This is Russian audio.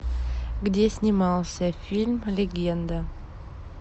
где снимался фильм легенда